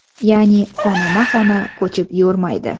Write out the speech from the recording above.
Ya’ni xonama-xona ko‘chib yurmaydi.